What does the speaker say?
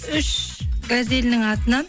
үш газелінің атынан